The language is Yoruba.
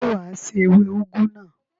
Ṣé wà á se ewé úgú náà?